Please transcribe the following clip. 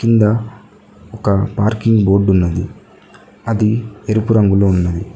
ఇడా ఒక parking board ఉన్నది అది ఎరుపు రంగులో ఉన్నది.